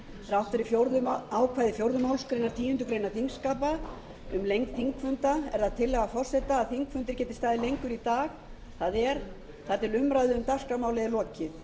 þrátt fyrir ákvæði fjórðu málsgreinar tíundu greinar þingskapa um lengd þingfunda er það tillaga forseta að þingfundur geti staðið lengur í dag það er þar til umræðu um dagskrármálið